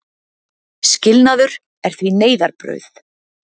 Skilnaður er því neyðarbrauð.